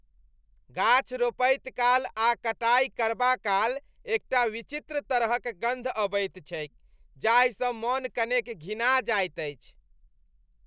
गाछ रोपैत काल आ कटाई करबाकाल एकटा विचित्र तरहक गन्ध अबैत छैक जाहिसँ मन कनेक घिना जाइत अछि।